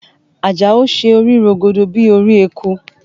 Àjàó ṣe orí rógódó bíi orí eku